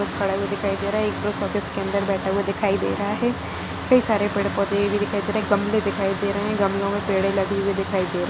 खड़ा हुआ दिखाई दे रहा है एक पोस्ट ऑफिस के अदर बैठा हुआ दिखाई दे रहा है कई सारे पेड़ पोधे भी दिखाई दे रहे है गमले दिखाई दे रहे है गमलो में पेड़ लगे हुए दिखाई दे रहे है।